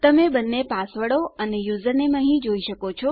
તમે આપણા બંને પાસવર્ડો અને 2 યુઝરનેમ અહીં જોઈ શકો છો